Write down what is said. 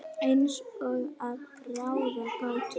Eins og að ráða gátu.